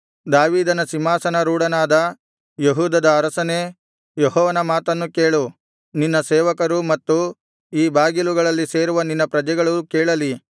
ದಾವೀದನ ಸಿಂಹಾಸನರೂಢನಾದ ಯೆಹೂದದ ಅರಸನೇ ಯೆಹೋವನ ಮಾತನ್ನು ಕೇಳು ನಿನ್ನ ಸೇವಕರೂ ಮತ್ತು ಈ ಬಾಗಿಲುಗಳಲ್ಲಿ ಸೇರುವ ನಿನ್ನ ಪ್ರಜೆಗಳೂ ಕೇಳಲಿ